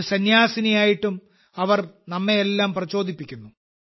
ഒരു സന്യാസിനിയായിട്ടും അവർ നമ്മെയെല്ലാം പ്രചോദിപ്പിക്കുന്നു